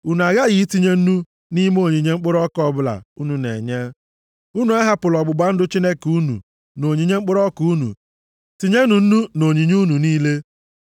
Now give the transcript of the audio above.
Unu aghaghị itinye nnu + 2:13 Nnu Nnu na-echekwa ihe ka ọ ghara imebi. nʼime onyinye mkpụrụ ọka ọbụla unu na-enye. Unu ahapụla ọgbụgba ndụ Chineke unu nʼonyinye mkpụrụ ọka unu. Tinyenụ nnu nʼonyinye unu niile.